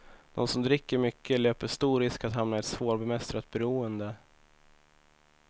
De som dricker mycket löper stor risk att hamna i ett svårbemästrat beroende.